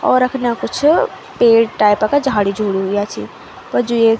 और अख्न्या कुछ पेड़ टाइप का झाड़ी झूडी हुयां छि प जू येक --